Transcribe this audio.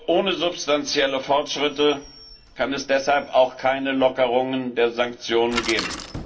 Ohne substanzielle Fortschritte kann es deshalb auch keine Lockerungen der Sanktionen geben.